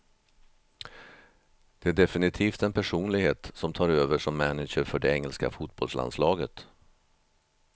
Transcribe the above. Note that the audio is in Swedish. Det är definitivt en personlighet som tar över som manager för det engelska fotbollslandslaget.